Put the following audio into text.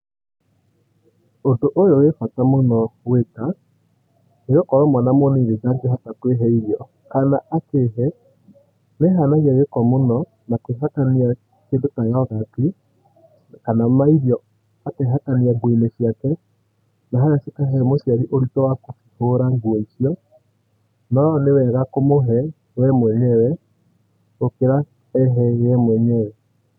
Ũndũ ũyũ wĩ bata mũno gwika, nĩ gũkorwo mwana mũnini ndangĩhota kũĩhe irio, kana akĩĩhe nĩehanagia gĩko mũno, na kũĩhakania kĩndũ ta yogati kana mairio akehakania nguo-inĩ ciake, na haha cikahe mũciari ũritũ wa kũcihũra nguo icio, no nĩwega kũmũhe we mwenyewe gũkira ehe ye mwenyewe.